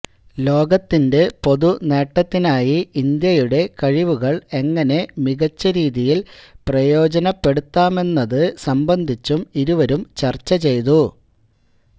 ലോകത്തിന്റെ പൊതു നേട്ടത്തിനായി ഇന്ത്യയുടെ കഴിവുകള് എങ്ങനെ മികച്ച രീതിയില് പ്രയോജനപ്പെടുത്താമെന്നതു സംബന്ധിച്ചും ഇരുവരും ചർച്ച ചെയ്തു